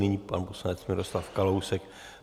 Nyní pan poslanec Miroslav Kalousek.